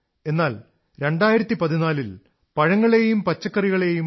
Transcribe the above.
എന്നാൽ 2014 ൽ പഴങ്ങളെയും പച്ചക്കറികളെയും എ